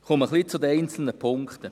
Ich komme zu den einzelnen Punkten;